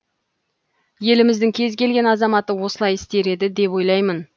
еліміздің кез келген азаматы осылай істер еді деп ойлаймын